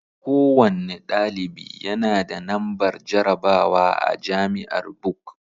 Kowanne ɗalibi yanada nambar jarabawa a jamiar Buk